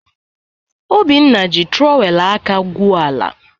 Obinna ji trọwel aka gwuo ala.